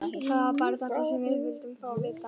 Það var bara þetta sem við vildum fá að vita.